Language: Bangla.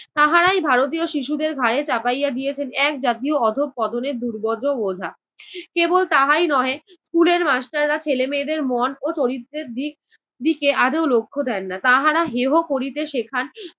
তাহারাই ভারতীয় শিশুদের ঘাড়ে চাপাইয়া দিয়েছেন এক জাতীয় অধঃপতনের দুর্বোধ্য বোঝা। কেবল তাহাই নহে school এর master রা ছেলেমেয়েদের মন ও চরিত্রের দিক~দিকে আদৌ লক্ষ্য দেন না তাহারা হেয় করিতে শেখান